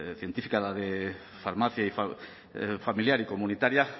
científica de farmacia familiar y comunitaria